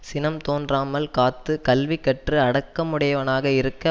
சினம் தோன்றாமல் காத்து கல்வி கற்று அடக்கமுடையவனாக இருக்க